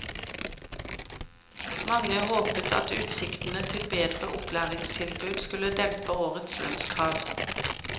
Mange håpet at utsiktene til bedre opplæringstilbud skulle dempe årets lønnskrav.